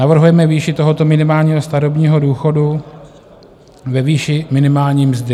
Navrhujeme výši tohoto minimálního starobního důchodu ve výši minimální mzdy.